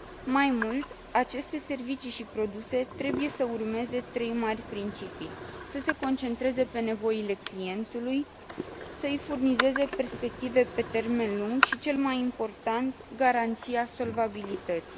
Mai mult, aceste servicii și produse trebuie să urmeze trei mari principii să se concentreze pe nevoile clientului, să i furnizeze perspective pe termen lung și, cel mai important, garanția solvabilității.